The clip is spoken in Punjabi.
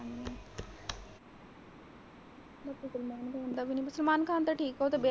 salman khan ਉਹਦਾ ਤੇ ਵਿਆਹ ਵੀ।